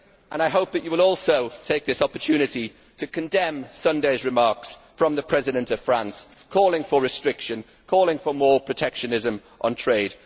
I hope that you will also take this opportunity to condemn Sunday's remarks from the President of France calling for restriction, calling for more protectionism on trade.